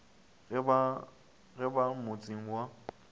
ge e ba motseng wa